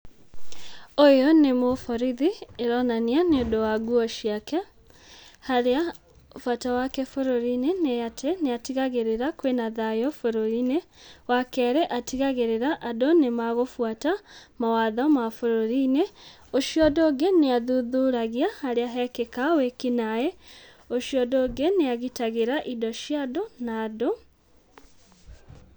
Ũyũ nĩ mũborithi ĩronania nĩũndũ wa nguo ciake haria bata wake bũrũrinĩ nĩ atĩ nĩ atigagĩrĩra kwĩna thayũ bũrũrinĩ. Wa kerĩ atigagĩrĩra andũ nĩ mekũbuata mawatho ma bũrũrinĩ. Ũcio ũndũ ũngĩ nĩ athuthuragia harĩa hekĩka wĩkinaĩ, ũcio ũngĩ nĩ agitagĩra indo ciandũ na andũ.